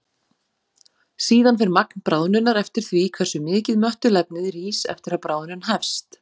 Síðan fer magn bráðnunar eftir því hversu mikið möttulefnið rís eftir að bráðnun hefst.